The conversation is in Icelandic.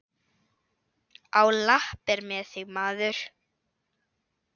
Á lappir með þig, maður!